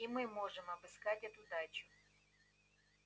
и мы можем обыскать эту дачу